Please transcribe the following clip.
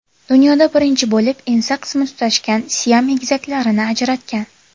Dunyoda birinchi bo‘lib ensa qismi tutashgan Siam egizaklarini ajratgan.